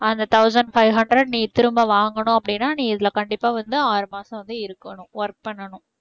அந்த thousand five hundred நீ திரும்ப வாங்கணும் அப்படின்னா நீ இதுல கண்டிப்பா வந்து ஆறு மாசம் வந்து இருக்கணும் work பண்ணனும்